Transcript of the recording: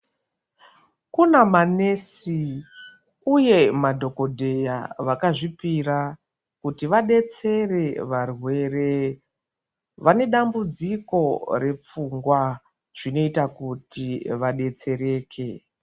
Kunamanesi uye madhogodheya vakazvipira kuti vadetsere varwere vanedambudziko repfungwa. Zvinoita kuti vadetsereke